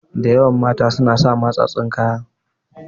Da yawan mata suna sa matsatstsun kaya.